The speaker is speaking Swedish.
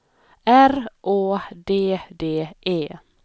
R Å D D E